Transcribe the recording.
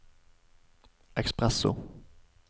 espresso